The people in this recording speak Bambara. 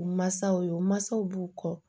u mansaw ye u mansaw b'u kɔ